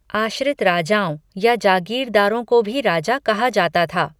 आश्रित राजाओं या जागीरदारों को भी राजा कहा जाता था।